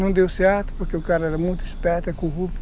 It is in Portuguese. Não deu certo, porque o cara era muito esperto, é corrupto.